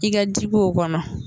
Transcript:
I ka ji ko o kɔnɔ.